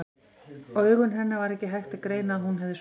Á augum hennar var ekki hægt að greina að hún hefði sofið.